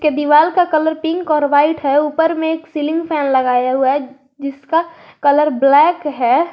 दीवाल का colour pink और वाइट है ऊपर में सीलिंग फैन लगाया हुआ है जिसका कलर ब्लैक है।